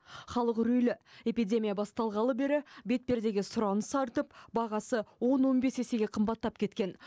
халық үрейлі эпидемия басталғалы бері бетпердеге сұраныс артып бағасы он он бес есеге қымбаттап кеткен